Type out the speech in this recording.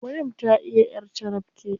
Maryam ta iya ƴar carabke.